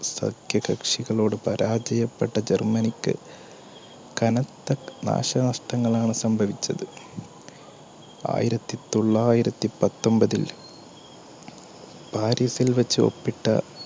സഖ്യകക്ഷികളോട് പരാജയപ്പെട്ട ജർമ്മനി ക്ക് കനത്ത നാശനഷ്ടങ്ങളാണ് സംഭവിച്ചത്. ആയിരത്തിതൊള്ളായിരത്തിപത്തൊൻപത്തിൽ ആരിഫിൽ വെച്ച് ഉപ്പിട്ട